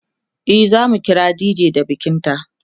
e zamu kira dj da bikin ta